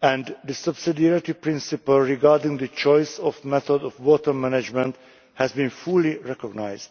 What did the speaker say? and the subsidiarity principle regarding the choice of method of water management has been fully recognised.